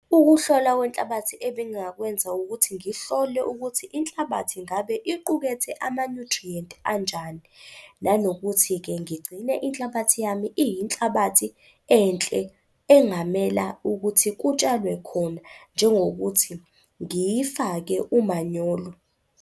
Ukuhlolwa kwenhlabathi ebengingakwenza ukuthi ngihlole ukuthi inhlabathi ngabe iqukethe ama-nutrient anjani, nanokuthi-ke ngigcine inhlabathi yami iyinhlabathi enhle engamela ukuthi kutshalwe khona, njengokuthi ngiyifake umanyolo.